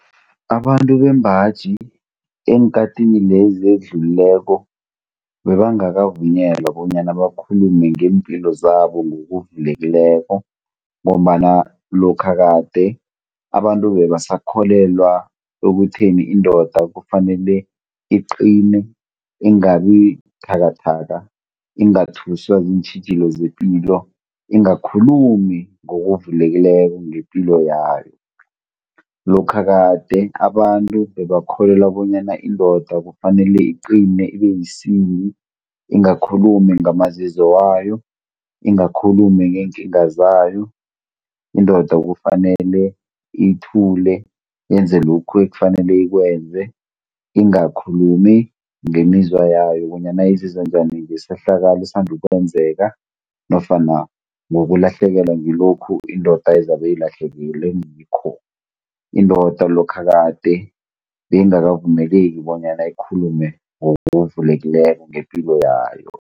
Abantu bembaji, eenkhathini lezi ezidlulileko bebangakavunyelwa bonyana bakhulume ngeempilo zabo ngokuvulekileko, ngombana lokha kade abantu bebasakholelwa ekutheni indoda kufanele iqine ingabi buthakathaka, ingathuswa ziintjhijilo zepilo, ingakhulumi ngokuvulekileko ngepilo yayo. Lokha kade abantu bebakholelwa bonyana indoda kufanele iqine ibe yisimbi, ingakhulumi ngamazizo wayo, ingakhulumi ngeenkinga zayo. Indoda kufanele ithule, yenze lokhu ekufanele ikwenze, ingakhulumi ngemizwa yayo bonyana izizwa njani ngesehlakalo esisand' ukwenzeka, nofana ngokulahlekelwa ngilokhu indoda ezabe ilahlekelwe ngikho. Indoda lokha kade, beyingakavumeleki bonyana ikhulume ngokuvulekileko ngepilo yayo.